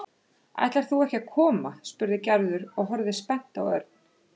Ætlar þú ekki að koma? spurði Gerður og horfði spennt á Örn.